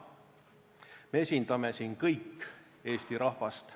Me esindame siin kõik Eesti rahvast.